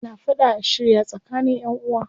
Ana fada a shirya tsakanin ƴanʼuwa.